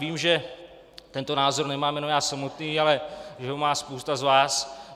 Vím, že tento názor nemám jenom já samotný, ale že ho má spousta z vás.